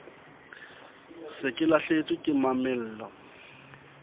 se ke lahlehetswe ke mamello